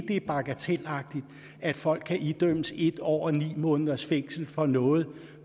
er bagatelagtigt at folk kan idømmes en år og ni måneders fængsel for noget